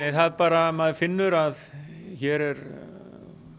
er bara að maður finnur að hér er